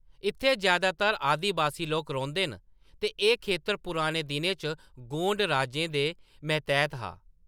इत्थै जैदातर आदिबासी लोक रौंह्‌‌‌दे न ते एह्‌‌ खेतर पुराने दिनें च गोंड राजें दे मतैह्‌‌‌त हा।